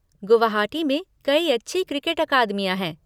गुवाहाटी में कई अच्छी क्रिकेट अकादमियाँ हैं।